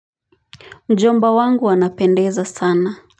Mjomba wangu anapendeza sana.